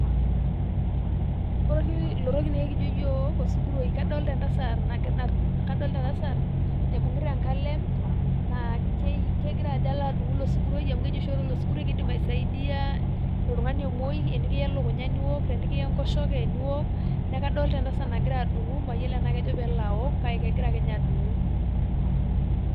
Ore oshi ilo toki naake kijo iyiok osuguroi. Kadolta entasat naibung'ita enkalem naa kegira ajo alo adung'u ilo suguroi amu keji oshi ore osuguroi naa keidim aisaidia oltung'ani omuei, enikiya elukunya niwok, tenikiya enkoshoke niwok, naake kadolta entasat nagira adung'u mayolo naake ejo peelo awok kake kegira akenye adung'u.